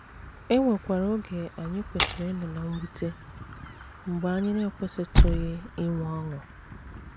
E nwekwara oge anyị kwesịrị ịnọ ná mwute, mgbe anyị na - ekwesịtụghị inwe ọṅụ.